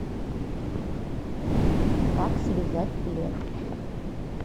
как связать плед